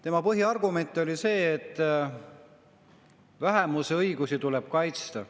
Tema põhiargument oli see, et vähemuse õigusi tuleb kaitsta.